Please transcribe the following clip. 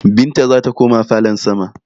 Binta zata koma falon sama